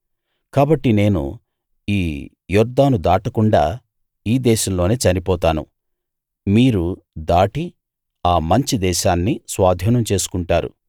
కాబట్టి నేను ఈ యొర్దాను దాటకుండా ఈ దేశంలోనే చనిపోతాను మీరు దాటి ఆ మంచి దేశాన్ని స్వాధీనం చేసుకుంటారు